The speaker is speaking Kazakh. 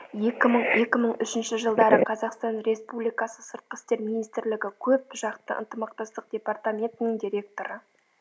екі мың екі мың үшінші жылдары қазақстан республикасы сыртқы істер министрлігі көп жақты ынтымақтастық департаментінің директоры